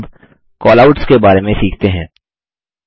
अबCallouts के बारे में सीखते हैं